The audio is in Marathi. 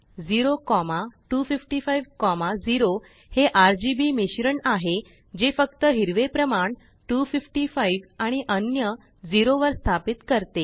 02550हेRGBमिश्रण आहे जे फक्त हिरवे प्रमाण255आणि अन्य0वर स्थापितकरते